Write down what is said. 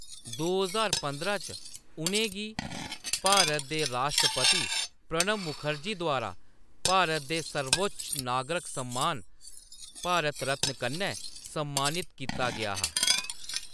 दो ज्हार पंदरां च, उʼनें गी भारत दे राष्ट्रपति प्रणब मुखर्जी द्वारा भारत दे सर्वोच्च नागरक सम्मान, भारत रत्न कन्नै सम्मानित कीता गेआ हा।